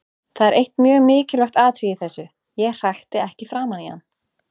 Það er eitt mjög mikilvægt atriði í þessu: Ég hrækti ekki framan í hann.